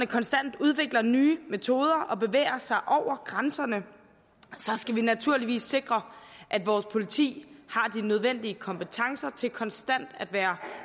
konstant udvikler nye metoder og bevæger sig over grænserne skal vi naturligvis sikre at vores politi har de nødvendige kompetencer til konstant at være